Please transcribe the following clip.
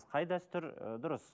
қай дәстүр ы дұрыс